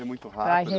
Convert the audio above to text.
É muito rápido.